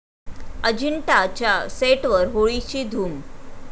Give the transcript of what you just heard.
अजिंठा'च्या सेटवर होळीची धूम